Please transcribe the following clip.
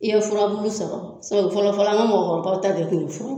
I ye furabulu sɔrɔ fɔlɔ fɔlɔ an ŋa mɔgɔkɔrɔbaw t'a kɛ ten fu